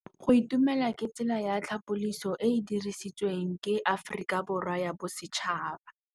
Go itumela ke tsela ya tlhapolisô e e dirisitsweng ke Aforika Borwa ya Bosetšhaba.